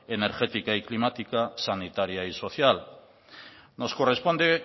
energética y climática sanitaria y social nos corresponde